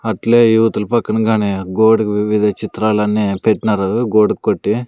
అట్లే ఇవతల పక్కన గానే గోడకు వివిధ చిత్రాలన్నీ పెట్టినారు గోడకు కొట్టి.